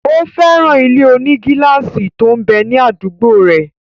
Ó fẹ́ràn ilé-onígílásì tó m bẹ ní àdúgbò rẹ̀